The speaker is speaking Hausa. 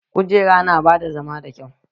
Kujera na bada zama da kyau